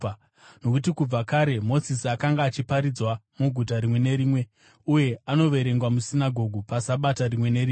Nokuti kubva kare Mozisi akanga achiparidzwa muguta rimwe nerimwe uye anoverengwa musinagoge paSabata rimwe nerimwe.”